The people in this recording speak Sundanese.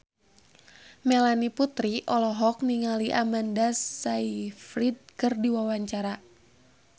Melanie Putri olohok ningali Amanda Sayfried keur diwawancara